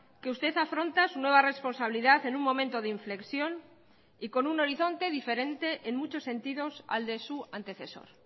que usted afronta su nueva responsabilidad en un momento de inflexión y con un horizonte diferente en muchos sentidos al de su antecesor